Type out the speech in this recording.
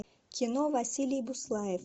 кино василий буслаев